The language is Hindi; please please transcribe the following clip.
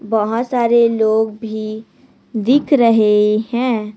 बहोत सारे लोग भी दिख रहे हैं।